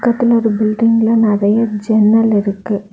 பக்கத்துல ஒரு பில்டிங்க்ல நிறைய ஜன்னல் இருக்கு.